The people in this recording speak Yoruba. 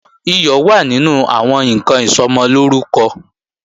Iyọ̀ wà nínú àwọn ǹkan Ìsọmọlórúkọ